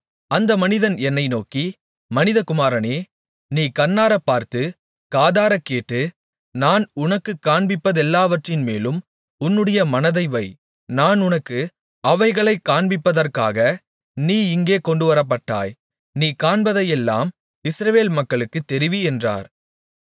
அந்த மனிதன் என்னை நோக்கி மனிதகுமாரனே நீ கண்ணாரப்பார்த்து காதாரக்கேட்டு நான் உனக்குக் காண்பிப்பதெல்லாவற்றின்மேலும் உன்னுடைய மனதை வை நான் உனக்கு அவைகளைக் காண்பிப்பதற்காக நீ இங்கே கொண்டுவரப்பட்டாய் நீ காண்பதையெல்லாம் இஸ்ரவேல் மக்களுக்குத் தெரிவி என்றார்